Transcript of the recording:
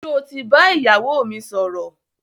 Sọ ti bá ìyàwó mi sọ̀rọ̀?